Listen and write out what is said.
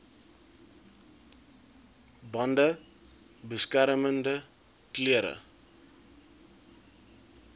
bande beskermende klere